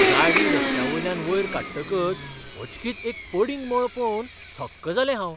गाडी रस्त्यावयल्यान वयर काडटकच अचकीत एक पडींग मळ पळोवन थक्क जालें हांव.